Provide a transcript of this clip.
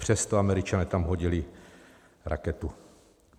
Přesto Američané tam hodili raketu.